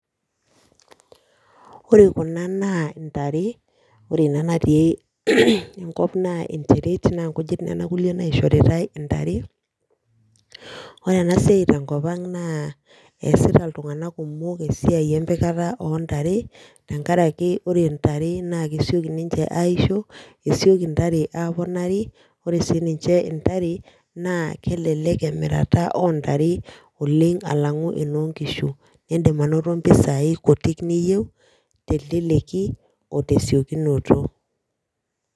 Ore kuna naa intare, ore ina natii enkop naa enteret naa nkujit nena kulie naishoritae intare. Ore ena siai tenkopang naa eesita iltung'anak kumok esiai empikata oo ntare tenkaraki ore ntare naa kesioki ninche aisho, esioki intare aaponari. Ore sii enkae naa kelelek emirata oo ntare oleng alang'u enoonkishu niindim anoto mpesia kuti niasishore teleleki o tesiokinoto